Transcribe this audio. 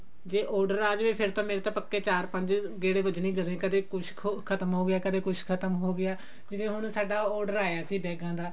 ਜੇ order ਆ ਜਾਵੇ ਫ਼ੇਰ ਤਾਂ ਮੇਰੇ ਪੱਕੇ ਚਾਰ ਪੰਜ ਵੱਜਣੇ ਹੀ ਵੱਜਣੇ ਕਦੇ ਕੁਛ ਖੋ ਖਤਮ ਹੋਗਿਆ ਕਦੇ ਕੁਛ ਖਤਮ ਹੋਗਿਆ ਜਿਵੇਂ ਹੁਣ ਸਾਡਾ order ਆਇਆ ਸੀ ਬੇਗਾਂ ਦਾ